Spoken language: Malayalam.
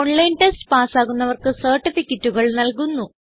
ഓൺലൈൻ ടെസ്റ്റ് പാസ്സാകുന്നവർക്ക് സർട്ടിഫികറ്റുകൾ നല്കുന്നു